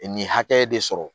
Nin hakɛ de sɔrɔ